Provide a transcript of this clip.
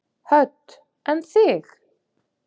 Hödd: En þig?